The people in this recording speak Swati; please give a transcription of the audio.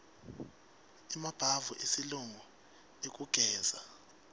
emabhavu esilungu ekugezela